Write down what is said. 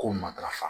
Ko matarafa